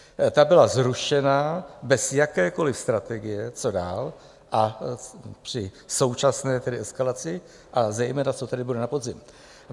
Ta byla zrušena bez jakékoliv strategie, co dál, a při současné tedy eskalaci - a zejména, co tedy bude na podzim?